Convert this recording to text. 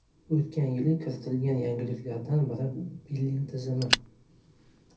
O‘tgan yili kiritilgan yangiliklardan biri billing tizimi.